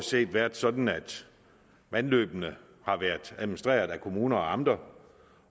set været sådan at vandløbene stort har været administreret af kommuner og amter